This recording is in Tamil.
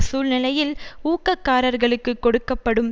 சூழ்நிலையில் ஊக்ககாரர்களுக்கு கொடுக்க படும்